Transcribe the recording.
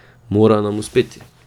Mora nam uspeti.